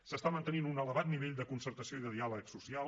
s’està mantenint un elevat nivell de concertació i de diàleg social